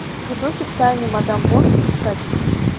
видосик тайны мадам вонг искать